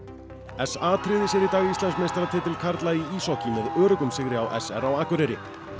s a tryggði sér í dag Íslandsmeistaratitil karla í íshokkí með öruggum sigri á s r á Akureyri